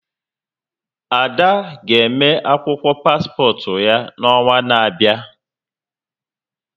Ada ga eme akwụkwọ paspọt ya n'ọnwa n'abịa